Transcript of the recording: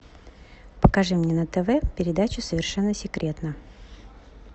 покажи мне на тв передачу совершенно секретно